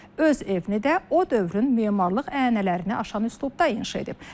Öz evini də o dövrün memarlıq ənənələrini aşan üslubda inşa edib.